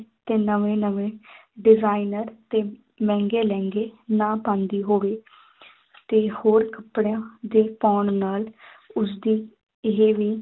ਤੇ ਨਵੇਂ ਨਵੇਂ designer ਤੇ ਮਹਿੰਗੇ ਲਹਿੰਗੇ ਨਾ ਪਾਉਂਦੀ ਹੋਵੇ ਤੇ ਹੋਰ ਕੱਪੜਿਆਂ ਦੇ ਪਾਉਣ ਨਾਲ ਉਸਦੀ ਇਹ ਵੀ